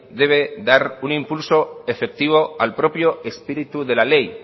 debe dar un impulso efectivo al propio espíritu de la ley